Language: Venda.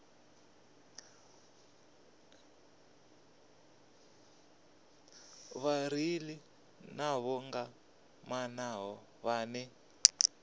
vhareili nḓivho nga maanḓa vhane